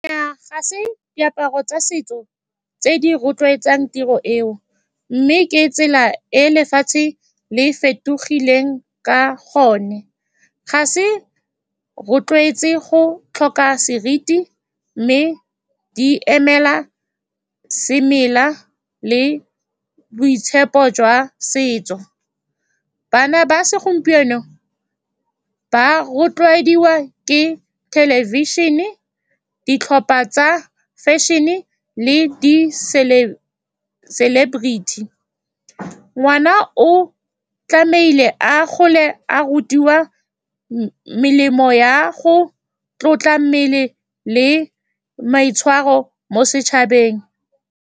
Nnyaa, ga se diaparo tsa setso tse di rotloetsang tiro eo, mme ke tsela e lefatshe le fetogileng ka gone. Ga se rotloetse go tlhoka seriti, mme di emela semela le boitshepo jwa setso. Bana ba segompieno ba rotloediwa ke thelebišene, ditlhopha tsa fashion-e le di celebrity. Ngwana o tlamehile a gole a rutiwa melemo ya go tlotla mmele le maitshwaro mo setšhabeng.